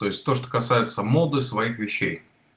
то есть то что касается моды своих вещей